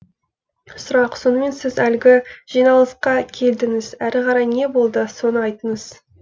сұрақ сонымен сіз әлгі жиналысқа келдіңіз әрі қарай не болды соны айтыңыз